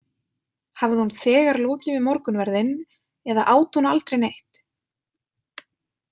Hafði hún þegar lokið við morgunverðinn eða át hún aldrei neitt?